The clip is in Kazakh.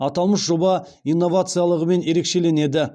аталмыш жоба инновациялығымен ерекшеленеді